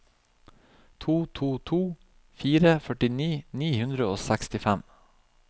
to to to fire førti ni hundre og sekstifem